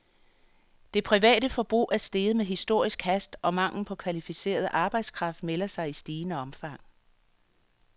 Det private forbrug er steget med historisk hast, og manglen på kvalificeret arbejdskraft melder sig i stigende omfang.